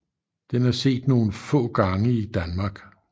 Den er set nogle få gange i Danmark